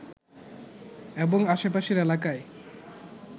এবং আশেপাশের এলাকায়